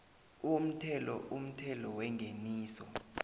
umthelo umthelo wengeniso